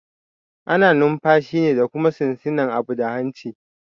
Ana numfashi ne da kuma shinshina abu da hanci